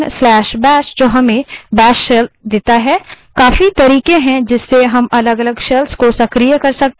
सामान्य रूप से/bin/bash output है जो हमें bash shell देता है